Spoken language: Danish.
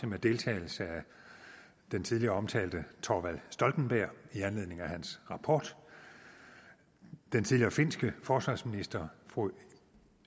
med deltagelse af den tidligere omtalte thorvald stoltenberg i anledning af hans rapport den tidligere finske forsvarsminister fru